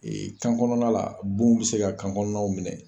ka kan kɔnɔna, bon bɛ se ka kan kɔnɔna minɛ.